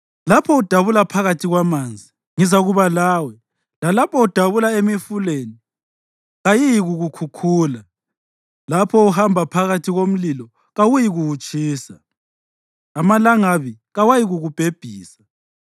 Lapho udabula phakathi kwamanzi ngizakuba lawe; lalapho udabula emifuleni, kayiyikukukhukhula. Lapho uhamba phakathi komlilo, kawuyikutsha; amalangabi kawayikukubhebhisa.